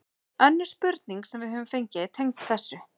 Önnur spurning sem við höfum fengið er tengd þessu: